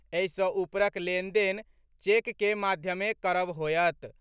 एहि सँ ऊपरक लेनदेन चेक के माध्यमे करब होएत।